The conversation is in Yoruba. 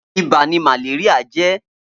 Ibà ni màléríà jè